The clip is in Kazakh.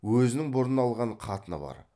өзінің бұрын алған қатыны бар